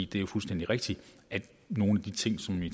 det er fuldstændig rigtigt at nogle af de ting som vi